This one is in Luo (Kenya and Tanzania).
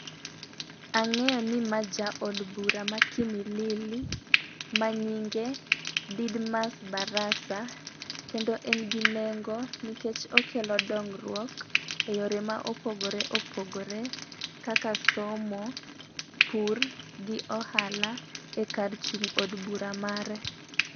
Ang'eyo ni ma jaod bura ka kimilili ma nyinge Didmas Barasa . Kendo en gi nengo nikech okelo dongruok e yore mopogore opogore kaka somo , pur gi ohala e kar chung' od bura mare.